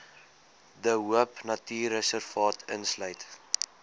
de hoopnatuurreservaat insluit